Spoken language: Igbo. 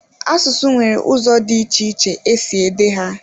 Asụsụ nwere ụzọ dị iche iche e si ede ha.